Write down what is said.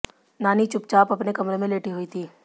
नानी चुपचाप अपने कमरे में लेटी हुई थीं